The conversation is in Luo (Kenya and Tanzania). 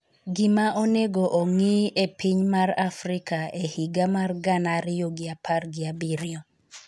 gima onego ong'I e piny mar Afrika e higa mar gana ariyo gi apar gi abiriyo